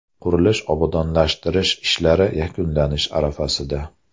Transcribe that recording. Qurilish-obodonlashtirish ishlari yakunlanish arafasida.